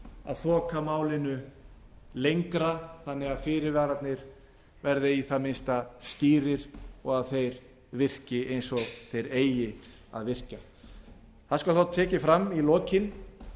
að þoka málinu lengra þannig að fyrirvararnir verði í það minnsta skýrir og að þeir virki eins og þeir eiga að virka það skal